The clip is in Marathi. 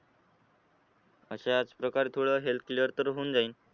अशाच प्रकारे थोडं health clear तर होऊन जाईल.